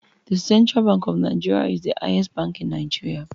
The Central Bank of NIgeria is the highest bank in Nigeria